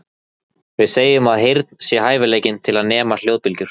Við segjum að heyrn sé hæfileikinn til að nema hljóðbylgjur.